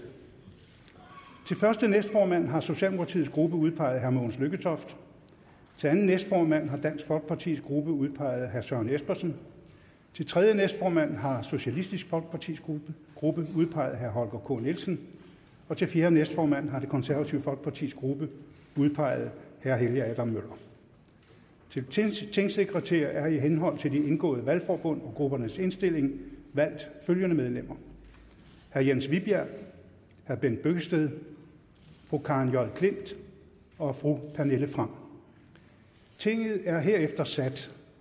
til første næstformand har socialdemokratiets gruppe udpeget herre mogens lykketoft til anden næstformand har dansk folkepartis gruppe udpeget herre søren espersen til tredje næstformand har socialistisk folkepartis gruppe gruppe udpeget herre holger k nielsen og til fjerde næstformand har det konservative folkepartis gruppe udpeget herre helge adam møller til tingsekretærer er i henhold til de indgåede valgforbund og gruppernes indstilling valgt følgende medlemmer herre jens vibjerg herre bent bøgsted fru karen j klint og fru pernille frahm tinget er herefter sat